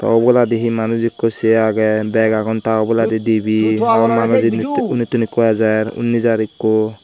uboladi hi manus ikko se agey beg agon ta oboladi dibe hon manus inditu unditun ikko ejer unni jar ikko.